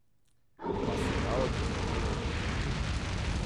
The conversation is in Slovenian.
Pa se da od kmetije živeti?